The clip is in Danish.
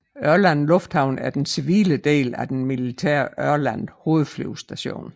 Ørland Lufthavn er den civile del af den militære Ørland Hovedflyvestation